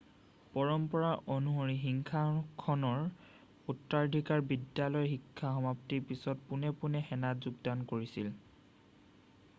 পৰম্পৰা অনুসৰি সিংহাসনৰ উত্তৰাধিকাৰী বিদ্যালয়ৰ শিক্ষা সমাপ্তিৰ পিছত পোনে পোনে সেনাত যোগদান কৰিছিল